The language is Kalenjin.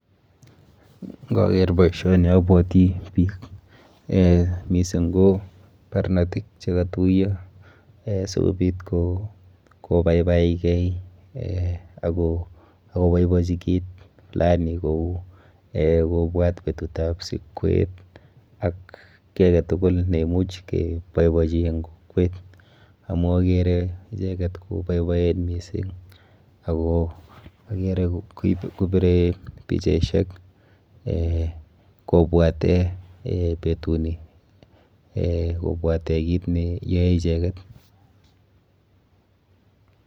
Nkaker boisioni abwoti biik , eh mising ko barnotik chekatuiyo sikobit kobaibaikei eh akoboibochi kit fulani kou kobwat betutab sikwet ak ki ake tugul neimuch keboibochi eng kokwet. Amu akere icheket koboiboen mising ako akere kopire pichaishek kobwate betuni, eh kobwate kit neyoe icheket.